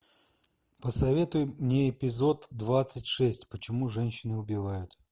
посоветуй мне эпизод двадцать шесть почему женщины убивают